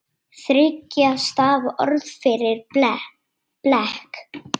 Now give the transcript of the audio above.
Þriggja stafa orð fyrir blek?